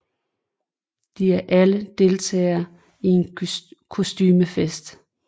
De er alle deltagere i en kostumefest